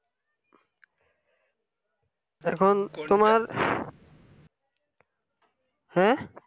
এখন তোমার হ্যাঁ